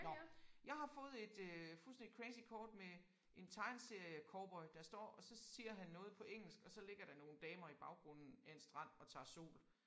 Nåh jeg har fået et øh fuldstændig crazy kort med en tegneseriecowboy der står og så siger han noget på engelsk og så ligger der nogle damer i baggrunden af en strand og tager sol